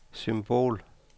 symbol